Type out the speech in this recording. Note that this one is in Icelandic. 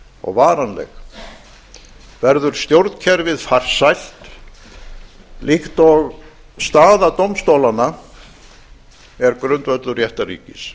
og varanleg verður stjórnkerfið farsælt líkt og staða dómstólanna er grundvöllur réttarríkis